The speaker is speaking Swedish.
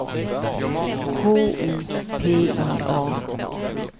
K O P I A